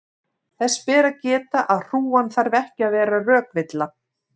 þess ber að geta að hrúgan þarf ekki að vera rökvilla